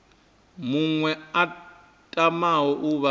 muṅwe a tamaho u vha